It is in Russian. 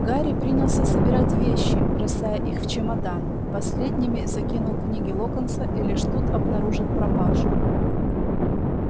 гарри принялся собирать вещи бросая их в чемодан последними закинул книги локонса и лишь тут обнаружил пропажу